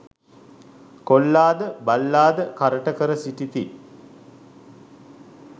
කොල්ලා ද බල්ලා ද කරට කර සිටිති.